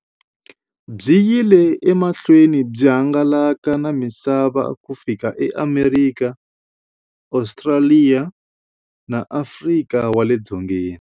Byi yile emahlweni byi hangalaka na misava ku fika eAmerika, Ostraliya na Afrika wale dzongeni.